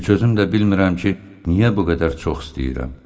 Heç özüm də bilmirəm ki, niyə bu qədər çox istəyirəm.